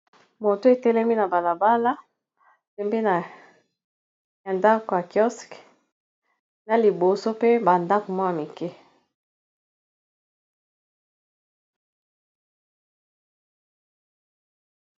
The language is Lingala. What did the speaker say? Moto etelemi na balabala pembeni ya ndako ya kiosk na liboso pe ba ndako moko ya mikie.